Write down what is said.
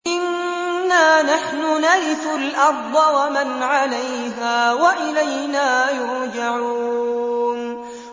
إِنَّا نَحْنُ نَرِثُ الْأَرْضَ وَمَنْ عَلَيْهَا وَإِلَيْنَا يُرْجَعُونَ